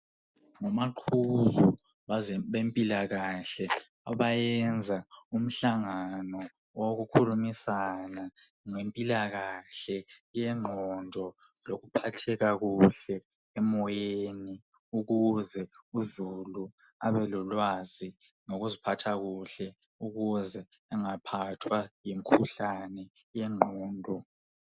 Ngamaqhuzo bempilakahle abayenza imihlangano owokukhulumisana ngempilakahle yengqondo lokuphatheka kuhle emoyeni ukuze uzulu ababelolwazi ngokuziphatha kuhle ukuze bengaphathwa ngumkhuhlane wengqondo.